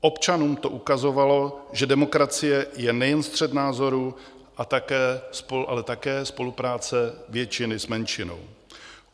Občanům to ukazovalo, že demokracie je nejen střet názorů, ale také spolupráce většiny s menšinou.